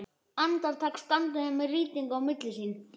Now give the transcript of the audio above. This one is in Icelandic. Andartak standa þau þannig með rýtinginn á milli sín.